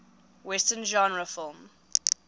western genre film